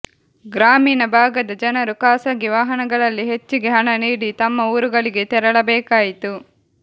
ಗ್ರಾಮೀಣ ಭಾಗದ ಜನರು ಖಾಸಗಿ ವಾಹನಗಳಲ್ಲಿ ಹೆಚ್ಚಿಗೆೆ ಹಣ ನೀಡಿ ತಮ್ಮ ಊರುಗಳಿಗೆ ತೆರಳಬೇಕಾಯಿತು